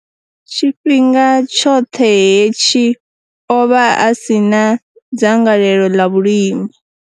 Tshifhinga tshoṱhe hetshi, o vha a si na dzangalelo ḽa vhulimi.